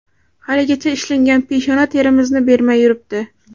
Haligacha ishlangan peshona terimizni bermay yuribdi.